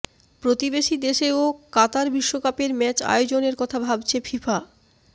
প্রতিবেশী দেশেও কাতার বিশ্বকাপের ম্যাচ আয়োজনের কথা ভাবছে ফিফা